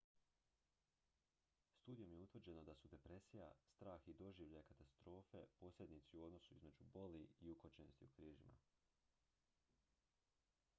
studijom je utvrđeno da su depresija strah i doživljaj katastrofe posrednici u odnosu između boli i ukočenosti u križima